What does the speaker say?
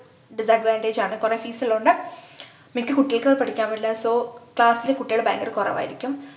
disadvantage ആണ് കൊറേ fees ള്ളോണ്ട് മിക്ക കുട്ടികൾക്കു അത്‌ പഠിക്കാൻ പറ്റില്ല so class ലു കുട്ടികൾ ഭയങ്കര കുറവായിരിക്കും